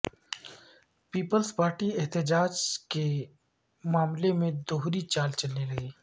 Peoples Party احتجاج کے معاملے میں دوہری چال چلنے لگی